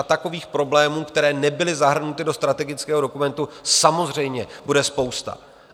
A takových problémů, které nebyly zahrnuty do strategického dokumentu, samozřejmě bude spousta.